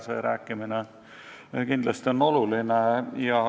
See rääkimine on kindlasti oluline.